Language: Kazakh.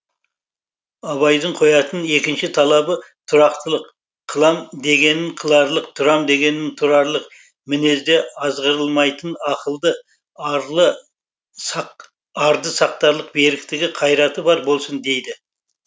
абайдың қоятын екінші талабы тұрақтылық қылам дегенін қыларлық тұрам дегенін тұрарлық мінезде азғырылмайтын ақылды арды сақтарлық беріктігі қайраты бар болсын дейді